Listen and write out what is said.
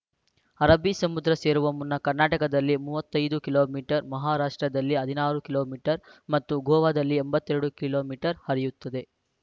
ಅರಬ್ಬಿ ಸಮುದ್ರ ಸೇರುವ ಮುನ್ನ ಕರ್ನಾಟಕದಲ್ಲಿ ಮೂವತ್ತೈದು ಕಿಲೋ ಮೀಟರ್ ಮಹಾರಾಷ್ಟ್ರದಲ್ಲಿ ಹದಿನಾರು ಕಿಲೋ ಮೀ ಟರ್ ಮತ್ತು ಗೋವಾದಲ್ಲಿ ಎಂಬತ್ತ್ ಎರಡು ಕಿಲೋ ಮೀಟರ್ ಹರಿಯುತ್ತದೆ